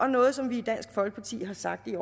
noget som vi i dansk folkeparti har sagt i